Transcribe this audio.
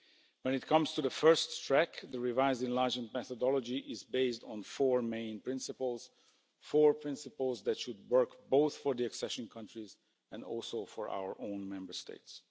When it comes to the first track, the revised enlargement methodology is based on four main principles, four principles that should work both for the accession countries and also for our own Member States.